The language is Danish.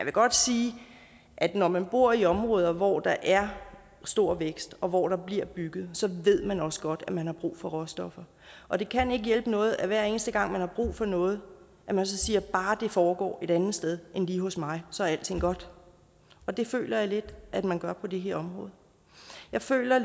godt sige at når man bor i områder hvor der er stor vækst og hvor der bliver bygget så ved man også godt at man har brug for råstoffer og det kan ikke hjælpe noget at man hver eneste gang man har brug for noget siger at bare det foregår et andet sted end lige hos mig så er alting godt og det føler jeg lidt at man gør på det her område jeg føler